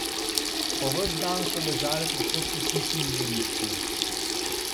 Po ves dan so ležale povsod po hiši in dvorišču.